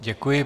Děkuji.